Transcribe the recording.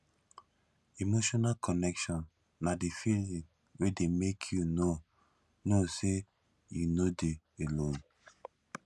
emotional connection na di feeling wey dey make you know know sey you no dey alone